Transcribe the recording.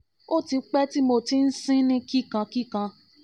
o ti pe ti mo ti mo ti n sin ni kikankikan